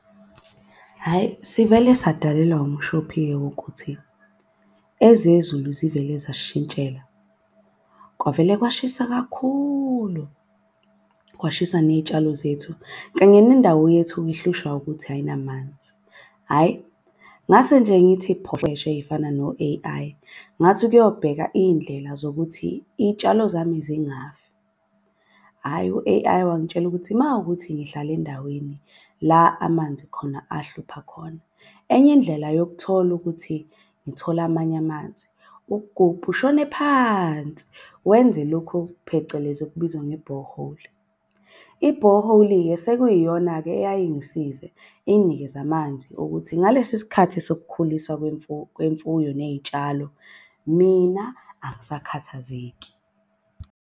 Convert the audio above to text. Hhayi sivele sadalelwa umshophi-ke wokuthi ezezulu zivele zasishintshela, kwavele kwashisa kakhulu kwashisa ney'tshalo zethu. Kanye nendawo yethu-ke ihlushwa ukuthi ayinamanzi, hhayi ngase nje ngithi ey'fana no-A_I. Ngathi ukuyobheka, iy'ndlela zokuthi iy'tshalo zami zingafi. Hhayi u-A_I wangitshela ukuthi mawukuthi ngihlale endaweni la amanzi khona ahlupha khona. Enye indlela yokuthola ukuthi ngithole amanye amanzi ukugubha ushone phansi, wenze lokhu phecelezi okubizwa ngebhoholi. Ibhoholi-ke sekuyiyona-ke eyaye ingisize inginikeze amanzi ukuthi ngalesi sikhathi sokukhulisa kwemfuyo ney'tshalo. Mina angisakhathazeki.